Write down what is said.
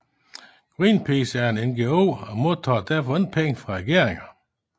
Greenpeace er en NGO og modtager derfor ikke penge fra regeringer